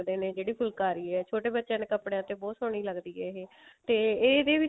ਹੁੰਦੇ ਨੇ ਜਿਹੜੀ ਫੁਲਕਾਰੀ ਹੈ ਛੋਟੇ ਬੱਚਿਆਂ ਦੇ ਕੱਪੜੇ ਤੇ ਬਹੁਤ ਸੋਹਣੀ ਲੱਗਦੀ ਆ ਇਹ ਤੇ ਇਹਦੇ